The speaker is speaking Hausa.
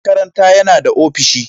Shugaban makaranta yana da ofishi.